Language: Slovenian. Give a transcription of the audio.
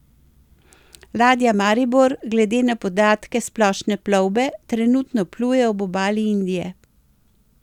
Ladja Maribor glede na podatke Splošne plovbe trenutno pluje ob obali Indije.